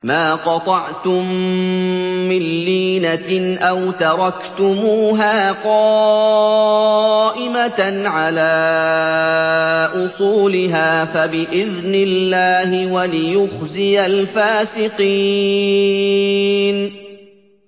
مَا قَطَعْتُم مِّن لِّينَةٍ أَوْ تَرَكْتُمُوهَا قَائِمَةً عَلَىٰ أُصُولِهَا فَبِإِذْنِ اللَّهِ وَلِيُخْزِيَ الْفَاسِقِينَ